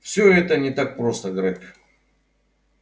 всё это не так просто грег